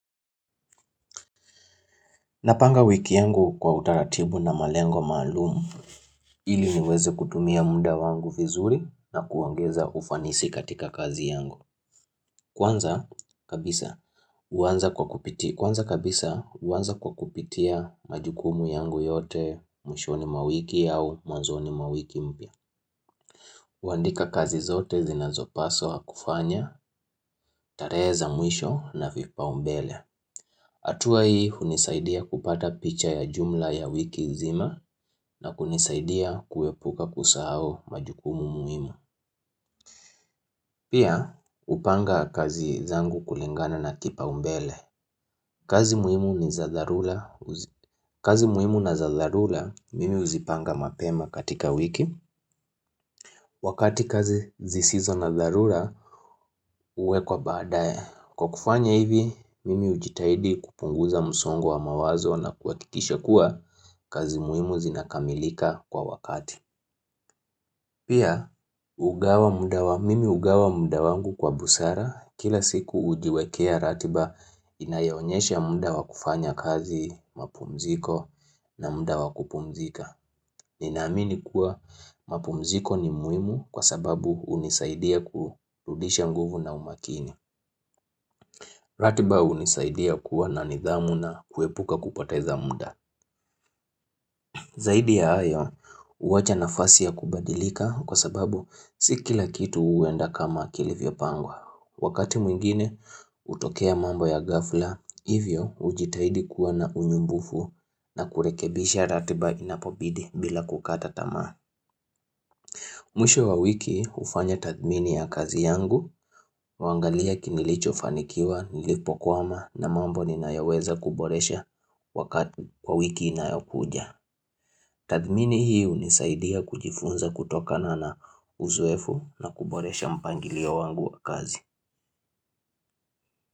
Napanga wiki yangu kwa utaratibu na malengo maalumu. Ili niweze kutumia muda wangu vizuri na kuongeza ufanisi katika kazi yangu. Kwanza kabisa huanza kwa kupitia majukumu yangu yote mwishoni mwa wiki au mwanzoni mwa wiki mpya. Huandika kazi zote zinazopaswa kufanya, tarehe za mwisho na vipaumbele. Hatua hii hunisaidia kupata picha ya jumla ya wiki nzima na kunisaidia kuepuka kusahau majukumu muhimu. Pia hupanga kazi zangu kulingana na kipaumbele. Kazi muhimu na za dharura mimi huzipanga mapema katika wiki. Wakati kazi zisizo na dharura huwekwa baadae. Kwa kufanya hivi, mimi hujitahidi kupunguza msongo wa mawazo na kuhakikisha kuwa kazi muhimu zinakamilika kwa wakati. Pia, mimi hugawa muda wangu kwa busara, kila siku hujiwekea ratiba inayoonyesha muda wakufanya kazi mapumziko na muda wakupumzika. Ninaamini kuwa mapumziko ni muhimu kwa sababu hunisaidia kurudisha nguvu na umakini. Ratiba hunisaidia kuwa na nidhamu na kuepuka kupoteza muda. Zaidi ya hayo, huacha nafasi ya kubadilika kwa sababu si kila kitu huenda kama kilivyopangwa. Wakati mwingine, hutokea mambo ya ghafla, hivyo hujitaidi kuwa na unyumbufu na kurekebisha ratiba inapobidi bila kukata tamaa. Mwisho wa wiki hufanya tathmini ya kazi yangu, huangalia nilichofanikiwa, nilipokwama na mambo ninayoweza kuboresha wakati kwa wiki inayokuja. Tathmini hii hunisaidia kujifunza kutokana na uzoefu na kuboresha mpangilio wangu wa kazi.